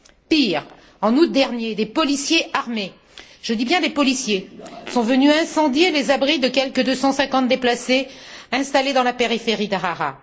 Pire, en août dernier, des policiers armés, je dis bien des policiers, sont venus incendier les abris de quelque 250 déplacés, installés dans la périphérie d'Harare.